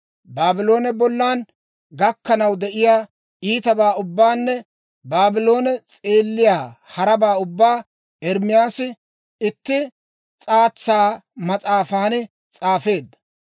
Baabloone bollan gakkanaw de'iyaa iitabaa ubbaanne Baabloone s'eelliyaa harabaa ubbaa Ermaasi itti s'aatsa mas'aafan s'aafeedda.